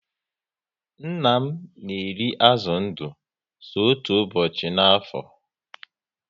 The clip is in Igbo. Nna m na eri azụ ndụ so otú ụbọchị ná afo